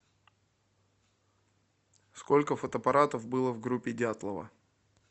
сколько фотоаппаратов было в группе дятлова